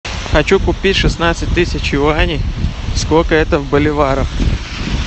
хочу купить шестнадцать тысяч юаней сколько это в боливарах